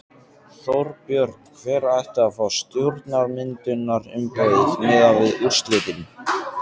Þorbjörn: Hver ætti að fá stjórnarmyndunarumboðið miðað við úrslitin?